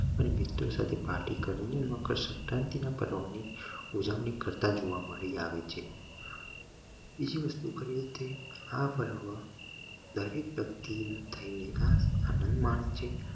અને મિત્ર સાથે પાર્ટી કરીને મકર સંક્રાંતિ ના પર્વ ને ઉજવણી કરતા જોવા મળી આવે છે બીજી વસ્તુ આ પર્વ દરેક વ્યક્તિ આનંદ માણે છે